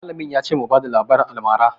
Mallamin ya ce mu rubuta labarin almara